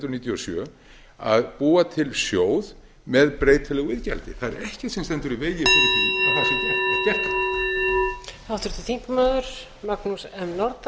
hundruð níutíu og sjö að búa til sjóð með breytilegu iðgjaldi það er ekkert sem stendur í vegi fyrir því að það sé gert